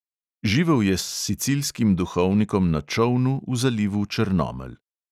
Živel je s sicilskim duhovnikom na čolnu v zalivu črnomelj.